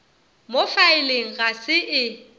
mo faeleng ga se e